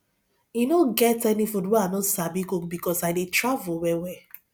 e no get any food wey i no sabi cook because i dey travel wellwell